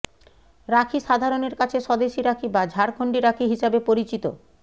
রাখি সাধারণের কাছে স্বদেশি রাখি বা ঝাড়খন্ডী রাখি হিসেবে পরিচিত